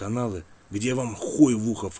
где во мху